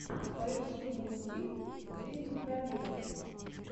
поищи мультфильм жизни в пробирке